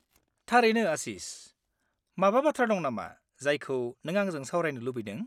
थारैनो आशिस, माबा बाथ्रा दं नामा जायखौ नों आंजों सावरायनो लुबैदों?